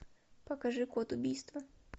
покажи код убийства